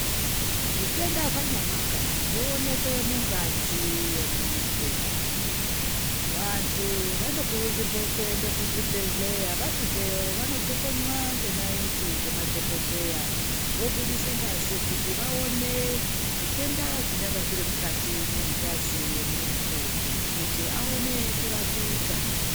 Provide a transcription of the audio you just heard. Zvitenda zvanyamwaka zvoonekwa mungazi yemuntu vantu vanokurudzirwa kuenda kuzvibhehlera vasvikeyo vanojokonywa ngenayiti ngema dhokodheya vobudisa ngazi kuti vaone zvitenda zvionga zviri mungazi yemuntu kuti aone kurapika